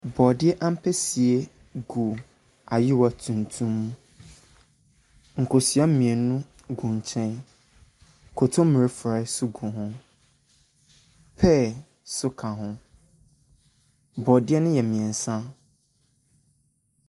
Borɔdeɛ ampesie gu ayewa tuntum mu. Nkosua mmienu gu nkyɛn. Kontommire forɔeɛ nso gu. Pear nso ka ho. Borɔdeɛ no yɛ mmeɛnsa.